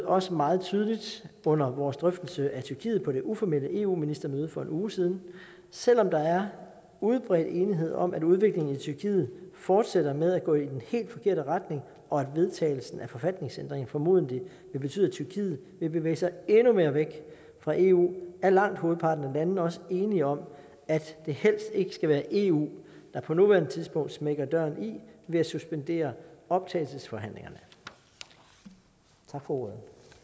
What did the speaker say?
også meget tydeligt under vores drøftelse af tyrkiet på det uformelle eu ministermøde for en uge siden så selv om der er udbredt enighed om at udviklingen i tyrkiet fortsætter med at gå i den helt forkerte retning og at vedtagelsen af forfatningsændringen formodentlig vil betyde at tyrkiet vil bevæge sig endnu mere væk fra eu er langt hovedparten af landene også enige om at det helst ikke skal være eu der på nuværende tidspunkt smækker døren i ved at suspendere optagelsesforhandlingerne tak for ordet